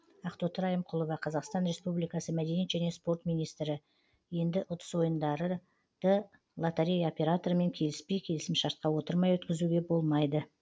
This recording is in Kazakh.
ақтоты райымқұлова қазақстан республикасы мәдениет және спорт министрі енді ұтыс ойындары лотерея операторымен келіспей келісімшартқа отырмай өткізуге болмайды